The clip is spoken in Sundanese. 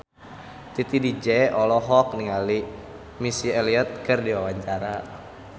Titi DJ olohok ningali Missy Elliott keur diwawancara